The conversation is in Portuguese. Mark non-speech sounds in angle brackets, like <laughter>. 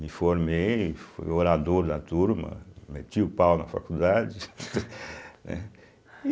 Me formei, fui orador da turma, meti o pau na faculdade <laughs> né.